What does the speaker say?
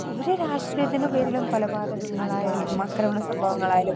speaker 2 ഒരു രാഷ്ട്രീയത്തിന്റെ പേരിലും കൊലപാതകങ്ങളായാലും, അക്രമസംഭവങ്ങളായാലും